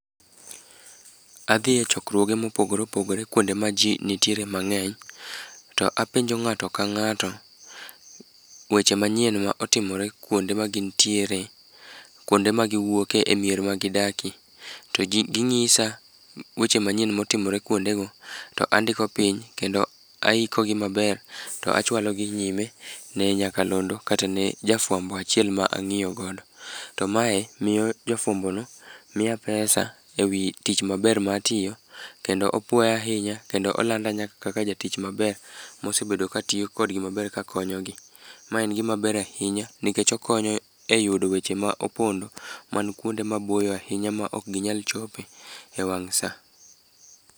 Adhi e chokruoge mopogore opogore kuonde ma ji nitie mang'eny, to apenjo ng'ato ka ng'ato weche manyien ma otimore kuonde ma gintiere. Kuonde ma giwuoke e mier ma gidake, to ging'isa weche manyien motimore kuonde go. To andiko piny kendo aikogi maber to achwalogi nyime ne nyakalondo kata ne jafwambo achiel ma ang'iyo godo. To mae miyo jafwambo no miya pesa ewi tich maber ma atiyo, kendo opuoya ahinya kendo olanda kaka jatich maber mosebedo ka tiyo kodgi maber ka konyo gi. Ma en gima ber ahinya nikech okonyo e yudo weche ma opondo man kuonde ma boyo ahinya ma ok ginyal chope e wang' sa.